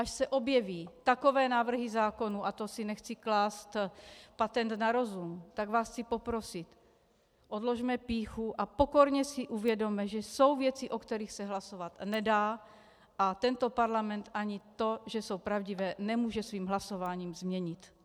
Až se objeví takové návrhy zákonů, a to si nechci klást patent na rozum, tak vás chci poprosit, odložme pýchu a pokorně si uvědomme, že jsou věci, o kterých se hlasovat nedá a tento parlament ani to, že jsou pravdivé, nemůže svým hlasováním změnit.